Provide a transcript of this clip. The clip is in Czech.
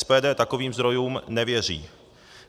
SPD takovým zdrojům nevěří.